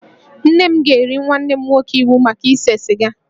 Nne m ga-eri nwanne m nwoke iwu maka ise siga